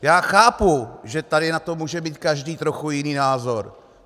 Já chápu, že tady na to může mít každý trochu jiný názor.